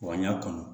Wa n y'a kanu